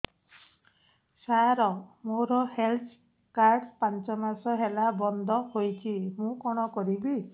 ସାର ମୋର health card ପାଞ୍ଚ ମାସ ହେଲା ବଂଦ ହୋଇଛି ମୁଁ କଣ କରିବି